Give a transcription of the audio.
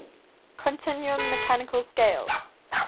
continuum mechanical scale